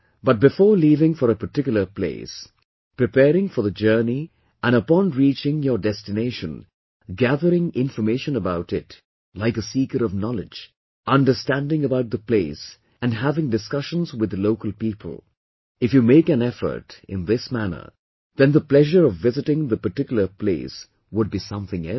But before leaving for a particular place, preparing for the journey and upon reaching your destination gathering information about it like a seeker of knowledge, understanding about the place and having discussions with the local people, if you make an effort in this manner then the pleasure of visiting the particular place would be something else